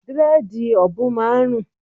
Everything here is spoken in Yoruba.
Dírẹ́dìì òbùn máa ń rùn.